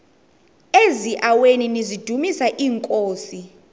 eziaweni nizidumis iinkosi